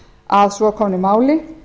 að svo komnu máli